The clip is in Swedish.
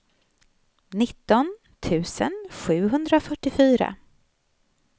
nitton tusen sjuhundrafyrtiofyra